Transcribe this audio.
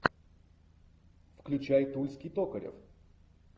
включай тульский токарев